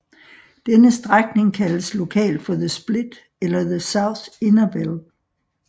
Denne strækning kaldes lokalt for The Split eller The South Innerbell